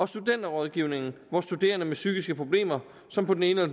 studenterrådgivningen hvor studerende med psykiske problemer som på den ene